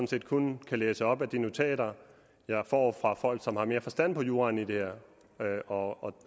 set kun kan læse op af de notater jeg får fra folk som har mere forstand på juraen i det her og